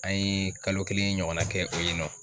An ye kalo kelen ɲɔgɔnna kɛ o ye nɔ